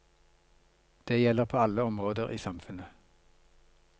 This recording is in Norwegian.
Det gjelder på alle områder i samfunnet.